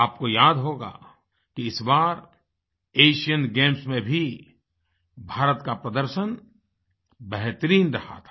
आपको याद होगा कि इस बार एशियन गेम्स में भी भारत का प्रदर्शन बेहतरीन रहा था